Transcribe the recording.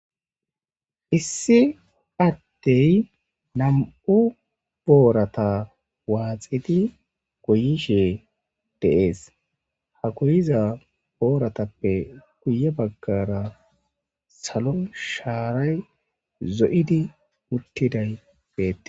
Issi adtey nam'u boorata waaxidi goyishe deees hakoyiza booratappe kuye baggara salon shaaray zo'idi uttiday beette.